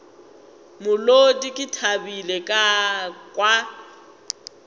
molodi ke thabile ka kwa